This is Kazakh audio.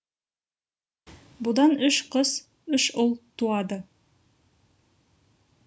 бұдан үш қыз үш ұл туады